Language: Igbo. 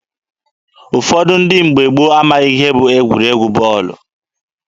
Ụfọdụ ndị mgbe gboo amaghị ihe bụ egwuregwu bọọlụ.